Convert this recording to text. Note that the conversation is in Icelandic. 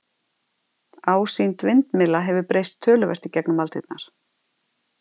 Ásýnd vindmylla hefur breyst töluvert í gegnum aldirnar.